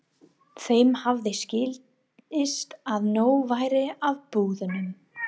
Þeim hafði skilist að nóg væri af búðunum.